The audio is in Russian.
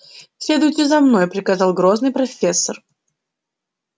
следуйте за мной приказал грозный профессор